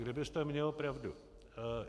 Kdybyste měl pravdu.